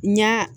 N ɲa